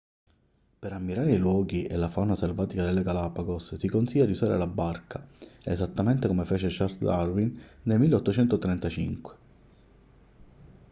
per ammirare i luoghi e la fauna selvatica delle galapagos si consiglia di usare la barca esattamente come fece charles darwin nel 1835